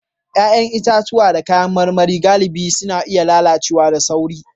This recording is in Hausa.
Ya'yan itatuwa da kayan marmari galibi suna iya lalacewa da sauri